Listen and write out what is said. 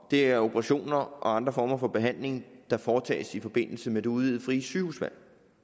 det er operationer og andre former for behandling der foretages i forbindelse med det udvidede frie sygehusvalg